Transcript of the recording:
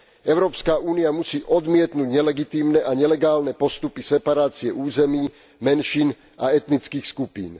Európska únia musí odmietnuť nelegitímne a nelegálne postupy separácie území, menšín a etnických skupín.